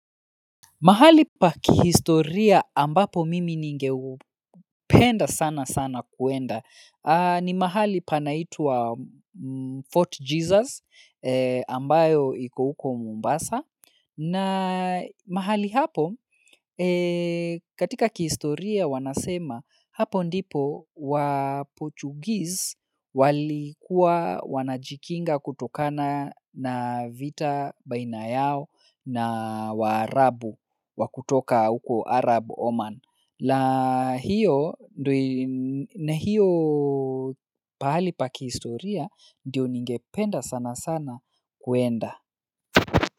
Mahali pa kihistoria ambapo mimi ninge penda sana sana kuenda ni mahali panaitwa Fort Jesus ambayo ikouko Mombasa. Na mahali hapo, katika kihistoria wanasema, hapo ndipo wa Portuguese walikuwa wanajikinga kutokana na vita baina yao na wa Arabu wakutoka huko Arab Oman. La hiyo, na hiyo pahali pa kihistoria, ndiyo ningependa sana sana kwenda.